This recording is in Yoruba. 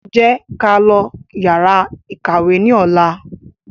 Jẹ́ ká lọ yàrá ìkàwé ní ọ̀la